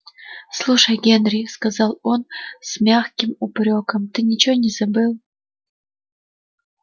слушай генри сказал он с мягким упрёком ты ничего не забыл